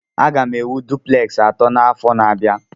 M ga-ewu dupleksi atọ n'afọ na-abịa.